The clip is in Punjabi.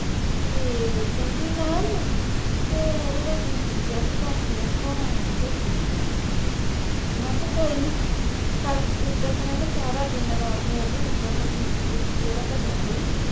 ਤੇ ਕਹਿੰਦੀ ਨਾ ਨਾ ਅਹ ਓਹਦਾ BP ਜਿਹਾ ਵੀ ਘੱਟ ਆ ਬਿਮਾਰ ਹੋਗੀ ਆ ਓਹੋ ਮੈਂ ਕਿਹਾ ਕੋਈ ਨਹੀਂ ਸਾ ਓਦਣ ਤੇ ਮੈਂ ਕਿਹਾ ਸਾਰਾ ਦਿਨ ਰਾਤ ਬੋਲੀ ਤੇ BP ਬੁਪੀ ਇਹਦਾ ਘਟੀਆ ਨਹੀਂ